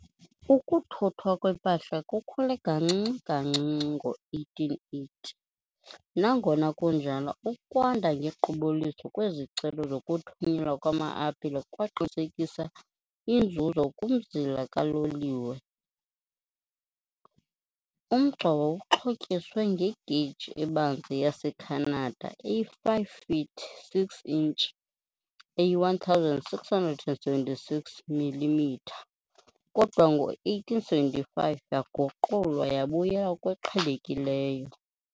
Ukuthuthwa kwempahla kukhule kancinci kancinci ngo-1880, nangona kunjalo, ukwanda ngequbuliso kwezicelo zokuthunyelwa kwama-apile kwaqinisekisa inzuzo kumzila kaloliwe. Umgca wawuxhotyiswe ngegeyiji ebanzi yaseKhanada eyi-5 feet 6 inch, eyi-1676 millimetre, kodwa ngo -1875 yaguqulwa yabuyela kweqhelekileyo.